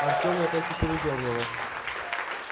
артёма так и передёрнуло